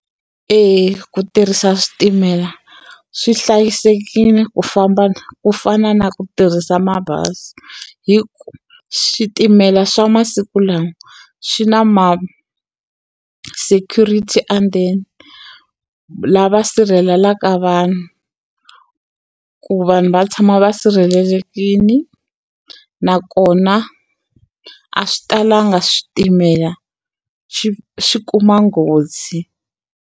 Eya ku tirhisa switimela swi hlayisekile ku famba ku fana na ku tirhisa mabazi hi ku switimela swa masiku lawa swi na ma-security and then lava sirhelelaka vanhu ku vanhu va tshama va sirhelelekile nakona a swi talanga switimela xi xi kuma nghozi.